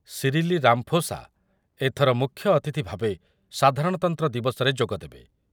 ସିରିଲି Ramaphosa ଏଥର ମୁଖ୍ୟଅତିଥି ଭାବେ ସାଧାରଣତନ୍ତ୍ର ଦିବସରେ ଯୋଗଦେବେ।